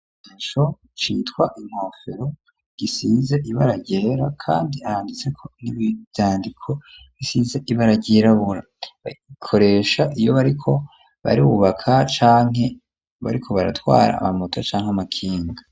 Ico citwa inkofero gisize ibara ryera kandi handitseko n'ivyandiko bisize ibara ryirabura barikoresha iyo bariko barubabaka canke bariko baratwara amamota canke amakinga.